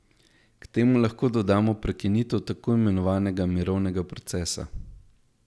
K temu lahko dodamo prekinitev tako imenovanega mirovnega procesa.